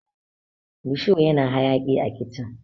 rusho yana hayaki a kicin